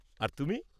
আর তুমি?